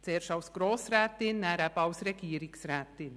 Zuerst als Grossrätin, dann eben als Regierungsrätin.